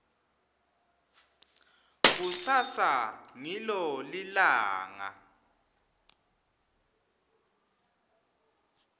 kusasa ngilo lilanga